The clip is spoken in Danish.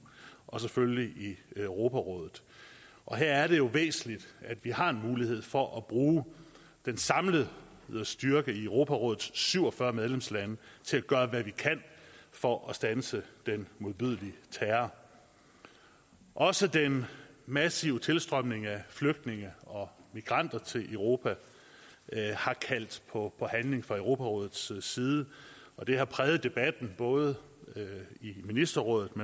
og selvfølgelig i europarådet og her er det væsentligt at vi har en mulighed for at bruge den samlede styrke i europarådets syv og fyrre medlemslande til at gøre hvad vi kan for at standse den modbydelige terror også den massive tilstrømning af flygtninge og migranter til europa har kaldt på handling fra europarådets side det har præget debatten både i ministerrådet